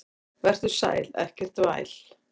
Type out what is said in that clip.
Vertu sæl, ekkert væl.